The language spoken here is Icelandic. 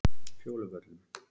Fjóluvöllum